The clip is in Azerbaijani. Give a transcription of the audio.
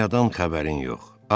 Dünyadan xəbərin yox.